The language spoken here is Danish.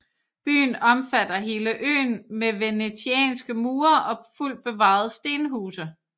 Byen omfatter hele øen med venetianske mure og fuldt bevarede stenhuse